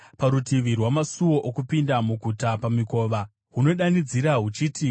parutivi rwamasuo okupinda muguta, pamikova, hunodanidzirisa huchiti,